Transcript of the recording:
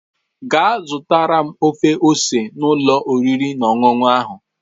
Gaa zụtara m ofe ose n'ụlọ oriri na ọṅụṅụ ahụ